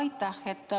Aitäh!